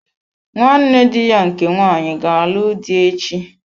Nwanne dị ya nke nwanyị ga-alụ dị echi.